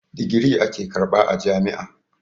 Digiri ake karɓa a jam'i.